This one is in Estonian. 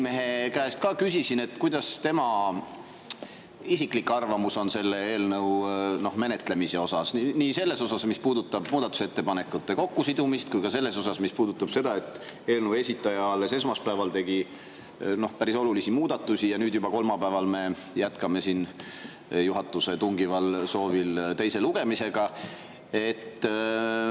Ma eile küsisin Riigikogu esimehe käest tema isiklikku arvamust selle eelnõu menetlemise kohta – nii selle kohta, mis puudutab muudatusettepanekute kokkusidumist, kui ka selle kohta, mis puudutab seda, et eelnõu esitaja alles esmaspäeval tegi päris olulisi muudatusi ja nüüd, kolmapäeval me juba jätkame juhatuse tungival soovil menetlust teise lugemisega.